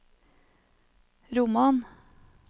roman